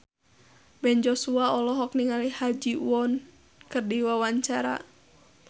Ben Joshua olohok ningali Ha Ji Won keur diwawancara